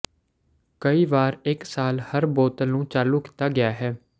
ਕਈ ਵਾਰ ਇਕ ਸਾਲ ਹਰ ਬੋਤਲ ਨੂੰ ਚਾਲੂ ਕੀਤਾ ਗਿਆ ਹੈ